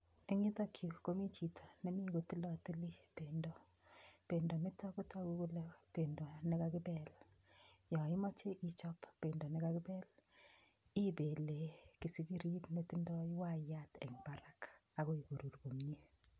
Eng yutokyu komi chito nemi kotilotili pendo. Pendo nitok kotogu kole pendo nekakipel. Yo imache ichop pendo nekakipel, ipele kisigirit netindoi waiyat eng barak akoi korur komie.